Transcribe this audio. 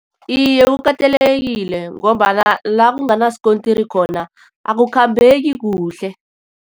Iye, kukatelelekile ngombana la enganasikontiri khona, akukhambeki kuhle.